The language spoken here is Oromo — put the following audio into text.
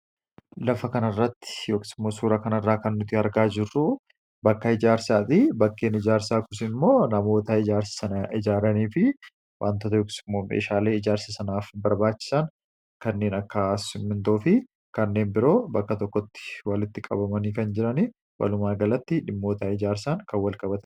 lafa kanarratti yokis imo suura kanarraa kan nuti argaa jirruu bakka ijaarsaati, bakkeen ijaarsaa kunis immoo namoota ijaarsa sana ijaaranii fi wantoota yokis immoo meeshaalee ijaarse sanaaf barbaachisaan kanneen akka simintoo fi kanneen biroo bakka tokkotti walitti qabamanii kan jirani walumaa galatti dhimmoota ijaarsaan kan wal qabate